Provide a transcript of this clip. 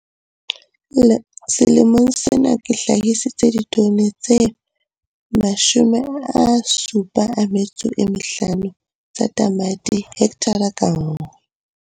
Selemong sena ke hlahisitse ditone tse 75 tsa tamati hekthara ka nngwe.